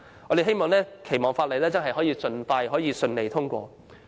我們期望《條例草案》能夠盡快順利通過。